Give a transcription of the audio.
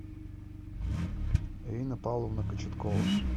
ирина павловна кочеткова